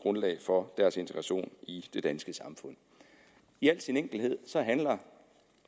grundlag for deres integration i det danske samfund i al sin enkelhed handler